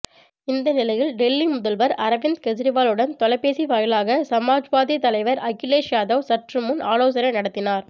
இந்த நிலையில் டெல்லி முதல்வர் அரவிந்த் கெஜ்ரிவாலுடன் தொலைபேசி வாயிலாக சமாஜ்வாதி தலைவர் அகிலேஷ் யாதவ் சற்றுமுன் ஆலோசனை நடத்தினார்